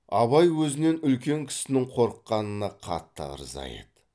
абай өзінен үлкен кісінің қорыққанына қатты ырза еді